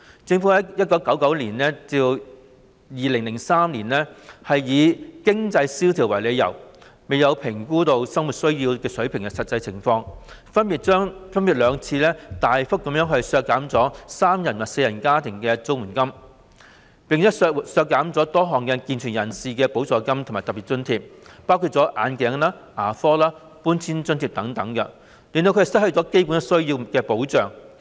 政府在1999年及2003年以經濟蕭條為由，在未有評估實際生活需要水平的情況下，分別兩次大幅削減三人及四人家庭的綜援金額，並削減了多項健全人士的補助金和特別津貼，包括眼鏡、牙科和搬遷津貼等，使他們失去基本需要方面的保障。